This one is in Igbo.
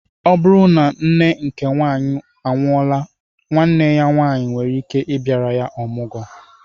O bụrụ na nne nke nwaanyị anwuola nwanne ya nwanyi nwere ikike bịara ya ọmụgwo